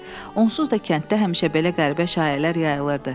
Onsuz da kənddə həmişə belə qəribə şayiələr yayılırdı.